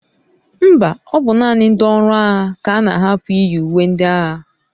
Mba, ọ bụ naanị ndị ọrụ agha ka a na-ahapụ iyi uwe ndị agha